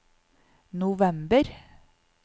november